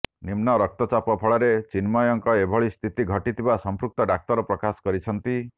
ନିମ୍ନ ରକ୍ତଚାପ ଫଳରେ ଚିନ୍ମୟଙ୍କ ଏଭଳି ସ୍ଥିତି ଘଟିଥିବା ସଂପୃକ୍ତ ଡାକ୍ତର ପ୍ରକାଶ କରିଛନ୍ତି